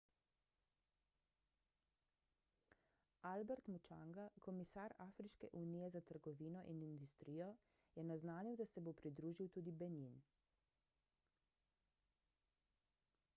albert muchanga komisar afriške unije za trgovino in industrijo je naznanil da se bo pridružil tudi benin